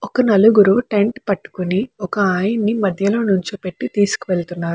ఒక నలుగురు టెంట్ పట్టుకుని ఒక ఆయన్ని మధ్యలో నిల్చోపెట్టి తీసుకెళ్తున్నారు.